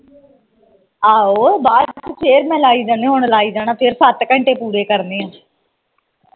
ਆਹੋ ਬਾਅਦ ਚ ਫਿਰ ਮੈ ਲਾਈ ਜਾਣੀ ਹੁਣ ਲਾਈ ਜਾਣਾ ਫਿਰ ਸੱਤ ਘੰਟੇ ਪੂਰੇ ਕਰਨੇ ਆ